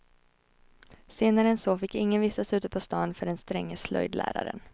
Senare än så fick ingen vistas ute på stan för den stränge slöjdläraren.